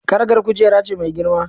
Karagar kujera ce mai girma.